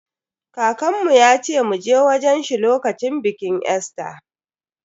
Kakanmu yace mu je wajen shi lokacin bikin Easter.